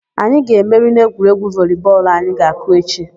Anyị ga-emeri n'egwuregwu voli bọọlụ anyị ga-akụ echi.